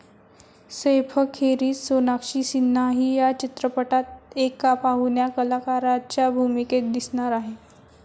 सैफखेरीज सोनाक्षी सिन्हाही या चित्रपटात एका पाहुण्या कलाकाराच्या भूमिकेत दिसणार आहे.